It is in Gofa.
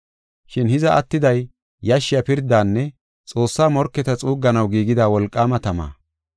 Shin hiza attiday yashshiya pirdaanne Xoossaa morketa xuugganaw giigida wolqaama tama.